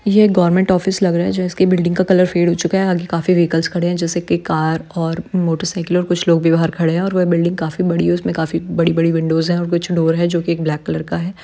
ये एक government office लग रहा है जिसकी बिल्डिंग का कलर फेड हो चूका है आगे काफी व्हीकल्स खड़े है जैसे की कार और मोटरसाइकिल और कुछ लोग भी बाहर खड़े हैं और वह बिल्डिंग काफी बड़ी है उसमें काफी बड़ी-बड़ी विंडोज हैं और कुछ डोर हैं जोकि ब्लैक कलर का है।